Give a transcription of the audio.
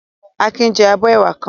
Akin jẹ abọ́ ẹwà kan.